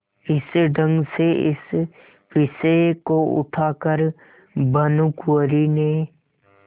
इस ढंग से इस विषय को उठा कर भानुकुँवरि ने